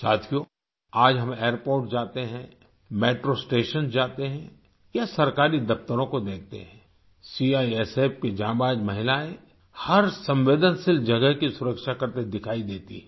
साथियो आज हम एयरपोर्ट्स जाते हैं मेट्रो स्टेशंस जाते हैं या सरकारी दफ्तरों को देखते हैं सीआईएसएफ की जांबाज महिलाएं हर संवेदनशील जगह की सुरक्षा करते दिखाई देती हैं